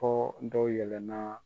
Fɔ dɔw yɛlɛnna